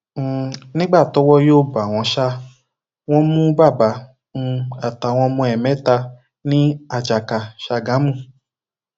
um nígbà tọwọ yóò bá wọn ṣá wọn mú bàbá um àtàwọn ọmọ ẹ mẹta ní àjàkà ṣágámù